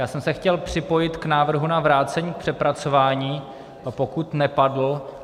Já jsem se chtěl připojit k návrhu na vrácení k přepracování, pokud nepadl.